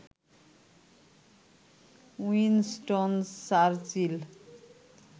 Winston Churchill